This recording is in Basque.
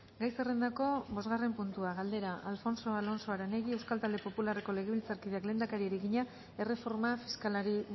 gai zerrendako bosgarren puntua galdera alfonso alonso aranegui euskal talde popularreko legebiltzarkideak lehendakariari egina erreforma fiskalari